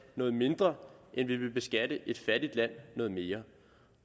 noget mindre end vi vil beskatte et fattigt land noget mere